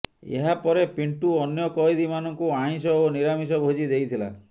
ଏହା ପରେ ପିଣ୍ଟୁ ଅନ୍ୟ କଏଦୀମାନଙ୍କୁ ଆମିଷ ଓ ନିରାମିଷ ଭୋଜି ଦେଇଥିଲା